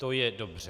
To je dobře.